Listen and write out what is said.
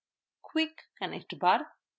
quick connect bar